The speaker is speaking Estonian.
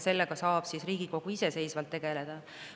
Sellega saab Riigikogu iseseisvalt tegeleda.